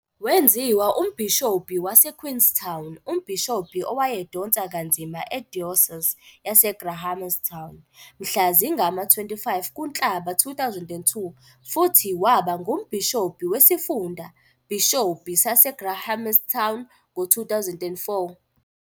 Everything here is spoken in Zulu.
Wenziwa umbhishobhi waseQueenstown, umbhishobhi owayedonsa kanzima eDiocese yaseGrahamstown, mhla zingama-25 kuNhlaba 2002 futhi waba ngumbhishobhi wesifunda-bhishobhi saseGrahamstown ngo-2004.